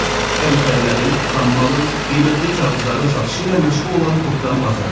Birja əmtəələrin, xammalın, qiymətli kağızların satışı ilə məşğul olan topdan bazardır.